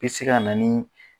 bɛ se ka na ni